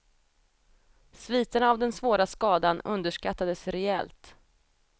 Sviterna av den svåra skadan underskattades rejält.